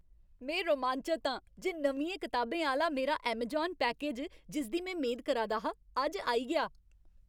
में रोमांचत आं जे नमियें कताबें आह्‌ला मेरा ऐमजान पैकेज, जिसदी में मेद करा दा हा, अज्ज आई गेआ।